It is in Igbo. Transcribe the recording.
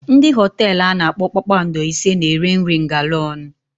Ndị hotelu ana akpọ kpakpando ise na-ere nri ngalaónu.